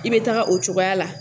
I bɛ taga o cogoya la.